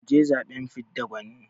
mu je zaɓen fidda gwani